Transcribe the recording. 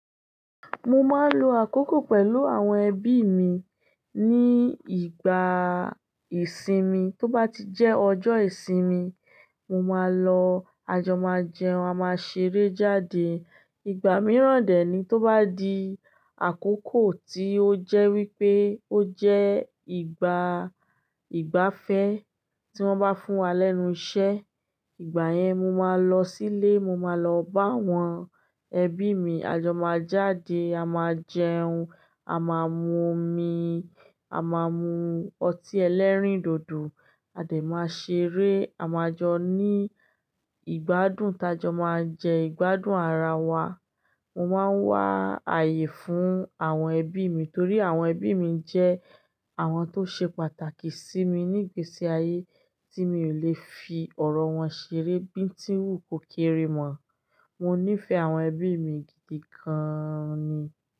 Mo máa ń lo àkókò pẹ̀lú àwọn ẹbí mi ní ìgbà ìsinmi. Tó bá ti jẹ́ ọjọ́ ìsinmi, mo máa lọ, a jọ máa jẹun, a máa ṣeré jáde. Ìgbà mìíràn dè ní tó bá di àkókò tí ó jẹ́ wípé ó jẹ́ ìgbà ìgbafẹ́ tí wón bá fún wa lẹ́nu iṣẹ́, ìgbà yẹn mo máa lọ sílé, mo máa lọ bá àwọn ẹbí mi, a jọ máa jáde, a máa jẹun, a máa mu omi, a máa mu ọtí ẹlẹ́rìndòdò, a dà máa ṣeré, a máa jọ ní ìgbádùn, tá jọ máa jẹ ìgbádùn ara wa. Mo máa ń wà áye fún àwọn ẹbí mi torí àwọn ẹbí mi jẹ́ àwọn tó ṣe pàtàkì sí mi ní ìgbésí ayé tí mi ò lè fi ọ̀rọ̀ wọn ṣeré bíi tí wùkò kéré mọ. Mo nífẹ̀ẹ́ àwọn ẹbí mi gidi gan ni.